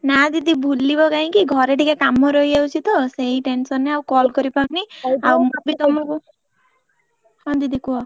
ନା ଦିଦି ଭୁଲିବ କାଇଁକି ଘରେ ଟିକେ କାମ ରହିଯାଉଛି ତ ସେଇ tension ରେ ଆଉ call କରି ପାରୁନି ଆଉ ମୁ ବି ତମକୁ ହଁ ଦିଦି କୁହ।